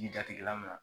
I jatigɛla min na